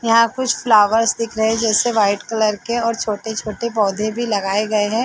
यहाँ कुछ फ्लावर्स दिख रहे है जैसे वाइट कलर के और छोटे-छोटे पौधे भी लगाए गए है ।